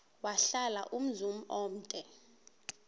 wahlala umzum omde